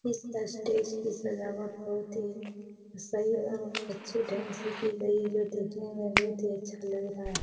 इस स्टेज पे सजावट बहुत ही सही और अच्छे ढंग से की गई है जो कि दिखने में बहुत ही अच्छा लग रहा है।